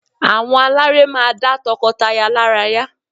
Àwọn aláré máa dá tọkọtaya lára yá